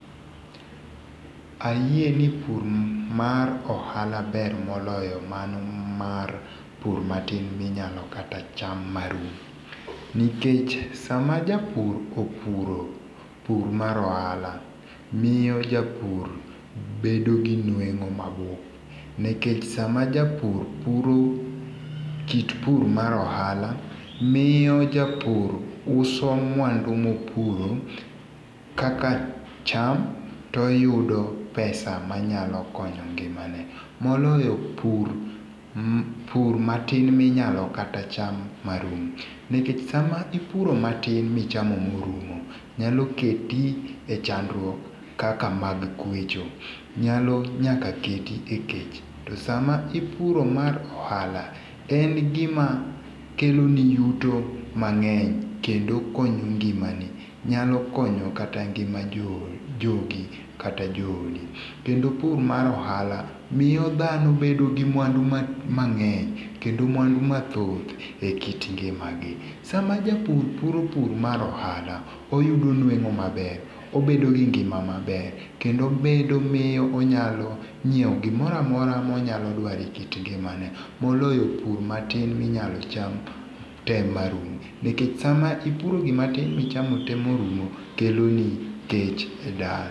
Ayie ni pur mar ohala ber moloyo mano mar pur matin ma inyalo kata cham ma rum. Nikech sa ma japur opuro pur mar ohala miyo japur bedo gi nweng'o ma bup, nekech sa ma japur puro kit pur mar ohala miyo japur uso mwandu mo opuro kaka cham to oyudo pesa ma nyalo konyo ngimane moloyo pur pur matin ma inyalo kata cham ma rum. Nikech sa ma ipuro matin mi ichamo mo orum nyalo keti e chandruok kaka mag kwecho. Nyalo nyaka keti e kech. To sa ma ipuro mar ohala, en gi ma kelo ni yuto mang'eny kendo konyo ngimani nyalo konyo kata ngima jo jogi kata jo odi. kendo pur mar ohala miyo dhano bedo gi mwandu mangeny kendo mwandu mathoth e ngima gi. Sama japur puro mar ohala oyudo nweng'o maber obedi gi ngima maber kendo obedo miyo onyalo nyiewo gi moro amora ma onyalo dwaro e kit ngimane moloyo pur matin mi inyalo cham te ma rum. Nikech sa ma ipuro gi matin mi ichamo te ma rum kelo ni kech e dala.